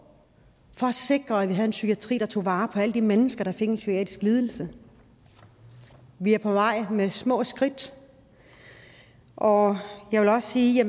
for at sikre at vi havde en psykiatri der tog vare på alle de mennesker der fik en psykiatrisk lidelse vi er på vej med små skridt og jeg vil også sige